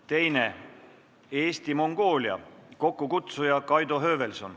Teiseks, Eesti-Mongoolia, kokkukutsuja on Kaido Höövelson.